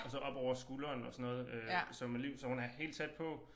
Og så op over skuldrene og sådan noget øh så med Liv så hun er helt tæt på